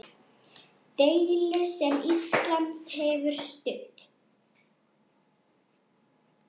Deilu sem Ísland hefur stutt.